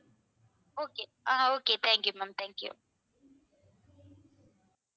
okay ah okay thank you ma'am thank you